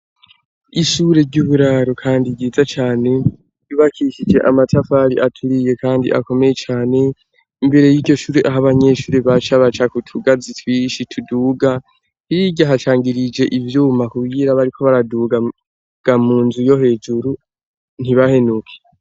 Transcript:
ishure ry'uburaro kandi ryiza cane. Ryubakishije amatafari aturiye kandi akomeye cane. Imbere y'iryo shuri aho abanyeshuri baca, baca ku tugazi twinshi ituduga. Hirya hatangirije ivyuma kugira bariko baraduga mu nzu yo hejuru ntibahenuke.